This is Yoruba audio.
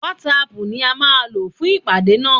WhatsApp ni a má lò fún ìpàdé nà.